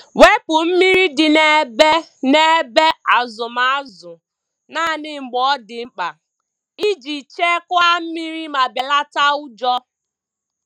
Wepu mmiri dị n’ebe n’ebe azụm azụ naanị mgbe ọ dị mkpa iji chekwaa mmiri ma belata ụjọ.